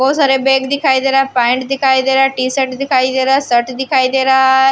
बहुत सारे बैग दिखाई दे रहा है पेंट दिखाई दे रहा टि शर्ट दिखाई दे रहा है शर्ट दिखाई दे रहा है।